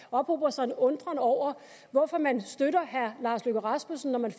ophober sig en undren over hvorfor man støtter herre lars løkke rasmussen når man